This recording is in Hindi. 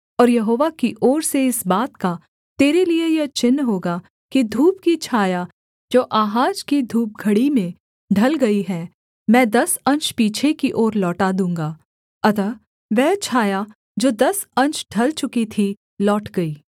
और यहोवा की ओर से इस बात का तेरे लिये यह चिन्ह होगा कि धूप की छाया जो आहाज की धूपघड़ी में ढल गई है मैं दस अंश पीछे की ओर लौटा दूँगा अतः वह छाया जो दस अंश ढल चुकी थी लौट गई